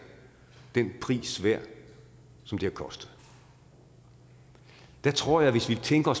den pris værd som det har kostet der tror jeg hvis vi tænker